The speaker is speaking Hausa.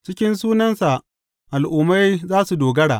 Cikin sunansa al’ummai za su dogara.